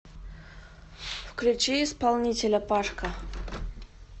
включи исполнителя пашка